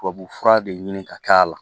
Tubabufura de ɲini ka k'a la